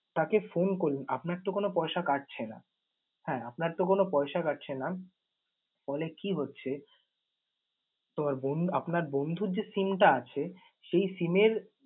তাকে phone করলেন, আপনার তো কোন পয়সা কাটছে না। হ্যাঁ আপনার তো কোন পয়সা কাটছে না। ফলে কি হচ্ছে? তোমার বন্ধ~ আপনার বন্ধুর যে SIM টা আছে সেই SIM এর